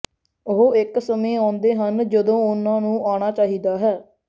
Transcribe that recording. ਉਹ ਇੱਕ ਸਮੇਂ ਆਉਂਦੇ ਹਨ ਜਦੋਂ ਉਨ੍ਹਾਂ ਨੂੰ ਆਉਣਾ ਚਾਹੀਦਾ ਹੈ